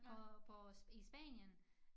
På på i Spanien